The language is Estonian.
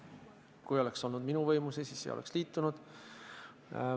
Kui see oleks olnud minu võimuses, siis me ei oleks liitunud.